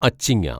അച്ചിങ്ങ